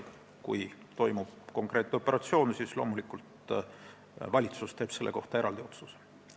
Kui toimub konkreetne operatsioon, siis teeb valitsus loomulikult eraldi otsuse selle kohta.